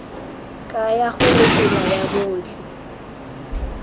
kaya gore tsela ya botlhe